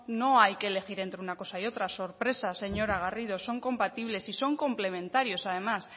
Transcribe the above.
no hay que elegir entre una cosa y otra sorpresa señora garrido son compatibles y son complementarios además